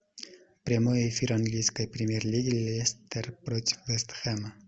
прямой эфир английской премьер лиги лестер против вест хэма